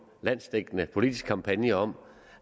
landsdækkende politisk kampagne om